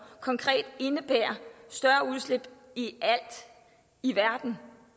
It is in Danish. konkret indebærer et større udslip i alt i verden